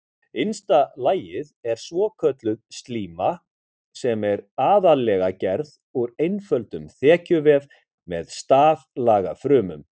Innsta lagið er svokölluð slíma sem er aðallega gerð úr einföldum þekjuvef með staflaga frumum.